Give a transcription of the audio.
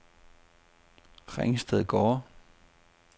Ringstedgårde